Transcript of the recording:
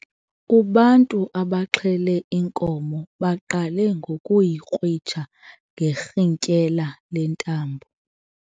Ubantu abaxhele inkomo baqale ngokuyikrwitsha ngerhintyela lentambo.